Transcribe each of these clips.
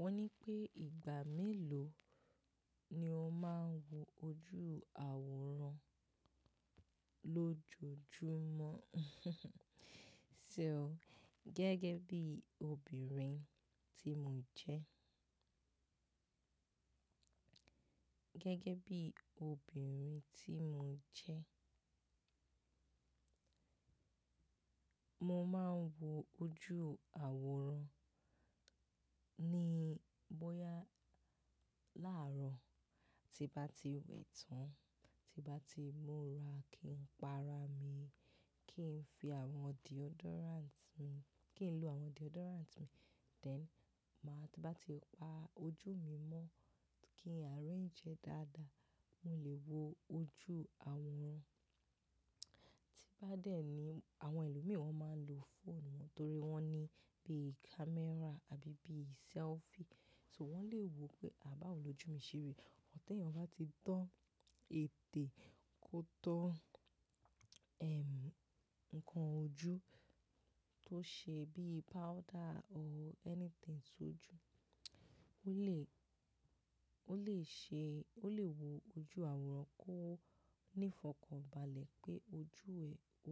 Wọ́n ní pé ìgbà mélò ni o máa ń wo ojú àwòrán lójoojúmọ́? So gẹ́gẹ́ bí obìnrin tí mo jẹ́. Gẹ́gẹ́ bí obìnrin tí mo jẹ́, mo máa ń wo ojú àwòrán ní bóyá láàrọ̀ tí bá ti wẹ̀ tán, tí bá ti múra kí n pa ara mi, kí n fi àwọn deodorant mi, kí n lo àwọn deodorant mi, then máa tí bá ti pa ojú mi mọ́ kí n arrange ẹ dáadáa, mo lè wo ojú àwòrán. Tí bá dẹ́ ni àwọn ẹlòmí máa ń lo phone wọ́n torí wọ́n ní bí camera àbí bí selfie, so wọ́n lè wo pé à bá ò lójú mi ṣeri, but ti eyan bá ti tọ́ ètè kó tọ́, ehm, ǹkan ojú tó ṣe bí powder or anything só ju, ó lè, ó lè ṣe, ó lè wo ojú àwòrán kó ní ìfọ̀kànbalẹ̀ pé ojú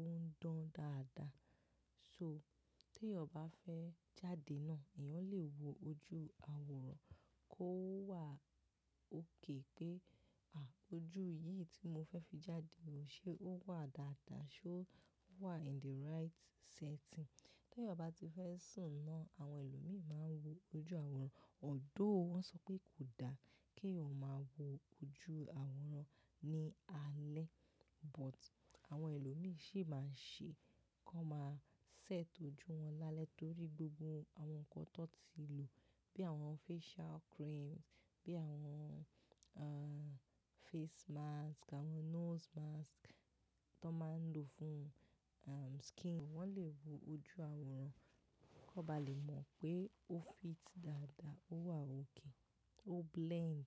ẹ̀ ó ń dán dáadáa. So te yan bá fẹ́ jáde náà, èèyàn lè wo ojú àwòrán kó wà òk pé, à ojú yìí tí mo fẹ́ fi jáde ló ṣe ó wà dáadáa, ṣé ó wà in the right setting. Teyan bá ti fẹ́ sùn náà, àwọn ẹlòmíràn máa ń wo ojú àwòrán. Ọ̀dọ́ọ̀ wọ́n sọ pé kò da kí eyan ma wo ojú àwòrán ní alẹ́, but àwọn ẹlòmíràn sì máa ń ṣe, kó máa set ojú wọn lálẹ́ torí gbogbo àwọn ǹkan tọ́ ti lò bí àwọn facial creams, bí àwọn, ah, face mask, àwọn nose mask tó máa ń lò fún, um, skin. Wọ́n lè wo ojú àwòrán kó bá lè mọ̀ pé ó fit dáadáa, ó wà òkè, ó blend.